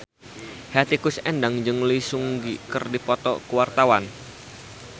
Hetty Koes Endang jeung Lee Seung Gi keur dipoto ku wartawan